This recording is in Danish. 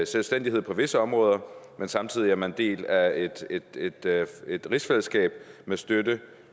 selvstændighed på visse områder samtidig med en del af et rigsfællesskab med støtte